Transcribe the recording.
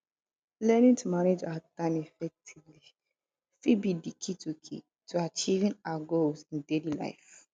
learning to manage our time effectively fit be di key to key to achieving our goals in daily life